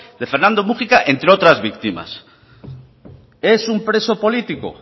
de fernando múgica entre otras víctimas es un preso político